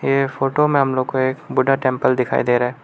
ये फोटो में हम लोग को एक बुद्धा टेंपल दिखाई दे रहा है।